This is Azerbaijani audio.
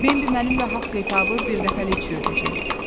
Bembi mənimlə haqq-hesabı birdəfəlik çürüdəcək.